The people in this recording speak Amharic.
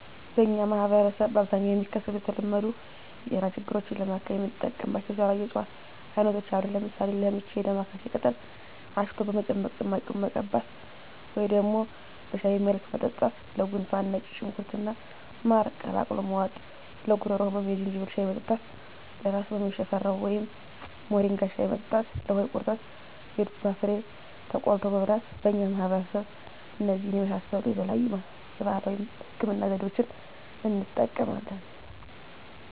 በእኛ ማህበረሰብ በአብዛኛው የሚከሰቱ የተለመዱ የጤና ችግሮችን ለማከም የምንጠቀምባቸው የተለያዩ የእፅዋት አይነቶች አሉ። ለምሳሌ፦ -ለምች የዳማካሴ ቅጠል አሽቶ በመጭመቅ ጭማቂውን መቀባት ወደም በሻይ መልክ መጠጣት -ለጉንፋን ነጭ ሽንኩርት እና ማር ቀላቅሎ መዋጥ -ለጉሮሮ ህመም የዝንጅብል ሻይ መጠጣት -ለራስ ህመም የሽፈራው ወይም ሞሪንጋ ሻይ መጠጣት -ለሆድ ድርቀት የዱባ ፍሬ ተቆልቶ መብላት በእኛ ማህበረሰብ እነዚህን የመሳሰሉ የተለያዩ የባህላዊ ህክምና ዘዴዋችን እንጠቀማለን።